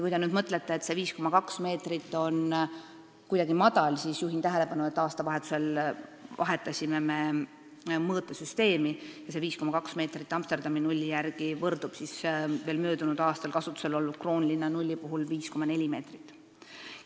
Kui te nüüd mõtlete, et see 5,2 meetrit on kuidagi madal, siis juhin tähelepanu, et aastavahetusel vahetasime me mõõtesüsteemi ja 5,2 meetrit Amsterdami nulli järgi võrdub veel möödunud aastal kasutusel olnud Kroonlinna nulliga ehk 5,4 meetriga.